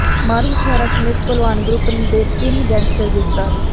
ਮਾਰੂ ਹਥਿਆਰਾਂ ਸਮੇਤ ਭਲਵਾਨ ਗਰੁੱਪ ਦੇ ਤਿੰਨ ਗੈਂਗਸਟਰ ਗ੍ਰਿਫ਼ਤਾਰ